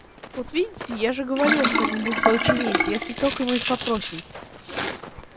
вот видите я же говорил что они будут его чинить если только мы их попросим